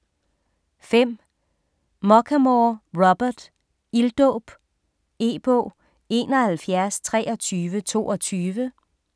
5. Muchamore, Robert: Ilddåb E-bog 712322